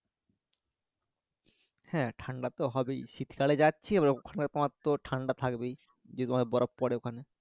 হ্যাঁ ঠান্ডা তো হবেই শীতকালে যাচ্ছি এবার ওখানে তোমার তো ঠান্ডা থাকবেই যেহেতু বরফ পরে ওখানে